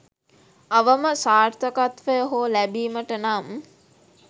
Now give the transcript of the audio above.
අවම සාර්ථකත්වය හෝ ලැබීමට නම්